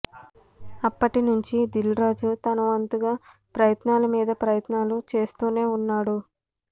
అప్పటి నుంచీ దిల్రాజు తనవంతుగా ప్రయత్నాల మీద ప్రయత్నాలు చేస్తూనే ఉన్నాడు